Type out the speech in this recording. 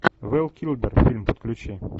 вэл килмер фильм подключи